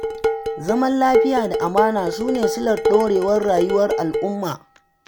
Zaman lafiya da amana su ne silar ɗorewar rayuwar al'umma.